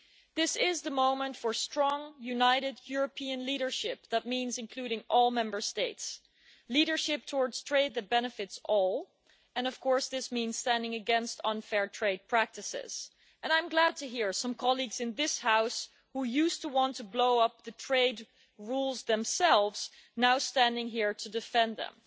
This is the moment for strong, united European leadership that means including all Member States leadership towards trade that benefits all, and of course, this means standing against unfair trade practices, and I'm glad to hear some colleagues in this House who used to want to blow up the trade rules themselves now standing here to defend them.